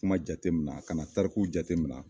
Kuma jateminɛ a kana tarikuw jateminɛ